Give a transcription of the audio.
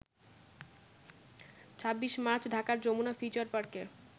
২৬ March ঢাকার Jamuna future পার্কে